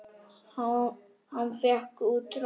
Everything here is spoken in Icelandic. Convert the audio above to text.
Hann fékk út tromp.